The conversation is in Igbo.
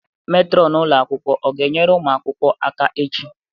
Metronu ụlọ akwụkwọ ọ ga-enyere ụmụ akwụkwọ aka echi?